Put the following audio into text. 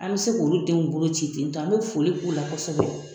An be se k'ulu denw bolo ci ten tɔ, an be foli k'u la kɔsɔbɛ.